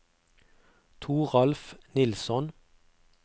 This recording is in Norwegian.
Toralf Nilsson